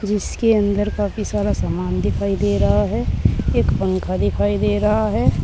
जिसके अंदर काफी सारा सामान दिखाई दे रहा है एक पंखा दिखाई दे रहा है।